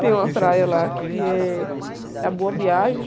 Tem uma praia lá que é a Boa Viagem.